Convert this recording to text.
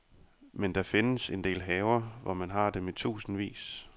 Men der findes en del haver, hvor man har dem i tusindvis.